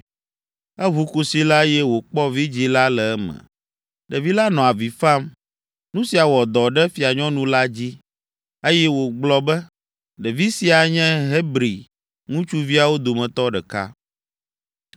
Eʋu kusi la, eye wòkpɔ vidzĩ la le eme! Ɖevi la nɔ avi fam, nu sia wɔ dɔ ɖe fiavinyɔnu la dzi, eye wògblɔ be, “Ɖevi sia nye Hebri ŋutsuviawo dometɔ ɖeka.”